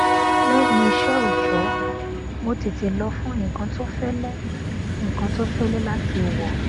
lẹyìn iṣẹ òòjọ mo tètè lọ fún nnkan tó fẹlẹ nnkan tó fẹlẹ láti wọ